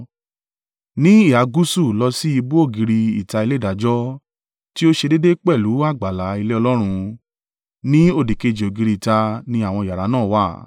Ní ìhà gúúsù lọ sí ìbú ògiri ìta ilé ìdájọ́ tí o ṣe déédé pẹ̀lú àgbàlá ilé Ọlọ́run, ní òdìkejì ògiri ìta ni àwọn yàrá náà wà.